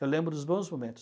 Eu lembro dos bons momentos.